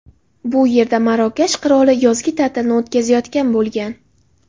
Bu yerda Marokash qiroli yozgi ta’tilni o‘tkazayotgan bo‘lgan.